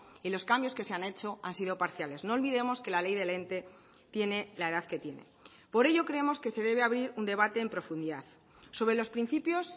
y los cambios que se han hecho han sido parciales no olvidemos que la ley del ente tiene la edad que tiene por ello creemos que se debe abrir un debate en profundidad sobre los principios